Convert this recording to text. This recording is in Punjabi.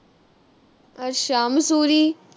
ਅੱਛਾ ਮਸੂਰੀ?